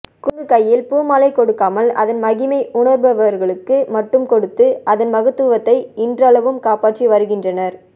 குரங்கு கையில் பூமாலை கொடுக்காமல் அதன் மகிமை உணர்பவர்களுக்கு மட்டும் கொடுத்து அதன் மகத்துவத்தை இன்றளவும் காப்பாற்றி வருகின்றனர்